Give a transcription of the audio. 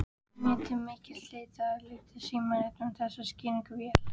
Mér til mikils léttis líkaði símritaranum þessi skýring vel.